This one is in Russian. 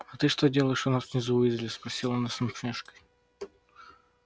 а ты что делаешь у нас внизу уизли спросил он с усмешкой